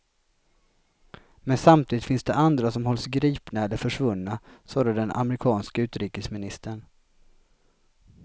Men samtidigt finns det andra som hålls gripna eller är försvunna, sade den amerikanske utrikesministern.